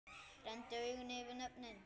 Renndi augunum yfir nöfnin.